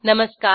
नमस्कार